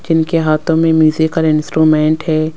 जिनके हाथों में म्यूजिकल इंस्ट्रूमेंट हैं।